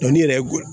Dɔnni yɛrɛ goya